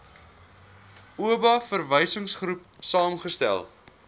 oba verwysingsgroep saamgestel